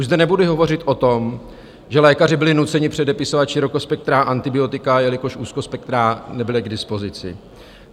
Už zde nebudu hovořit o tom, že lékaři byli nuceni předepisovat širokospektrá antibiotika, jelikož úzkospektrá nebyla k dispozici.